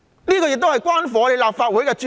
主席，這亦關乎立法會的尊嚴。